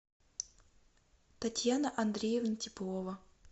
татьяна андреевна теплова